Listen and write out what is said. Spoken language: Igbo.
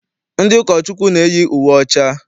Ndị ụkọchukwu na-eyi uwe ọcha.